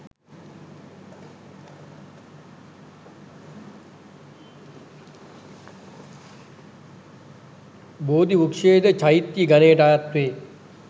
බෝධිවෘක්‍ෂයද චෛත්‍ය ගණයට අයත් වේ.